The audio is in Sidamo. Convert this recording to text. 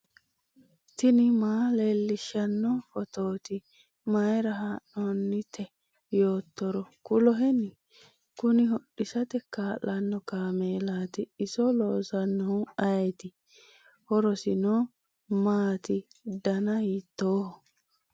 tini maa leellishshanno phootooti mayra haa'noonnite yoottoro kuloheni ? kuni hodhisate kaa'lanno kaameelati iso loosinohu ayeeti ? horosino maati dana hiitooho?